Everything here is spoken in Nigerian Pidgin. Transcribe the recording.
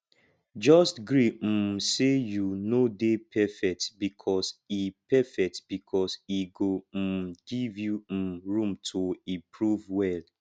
jus gree um sey yu no dey perfect bikos e perfect bikos e go um giv yu um room to improve well